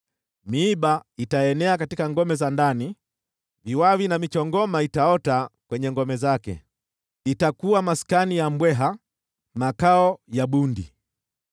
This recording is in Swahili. Miiba itaenea katika ngome za ndani, viwawi na michongoma itaota kwenye ngome zake. Itakuwa maskani ya mbweha, makao ya bundi.